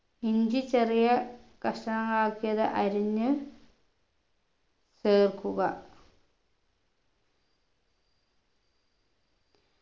ഇഞ്ചി ചെറിയ കഷ്ണങ്ങളാക്കിയത് അരിഞ്ഞ് ചേർക്കുക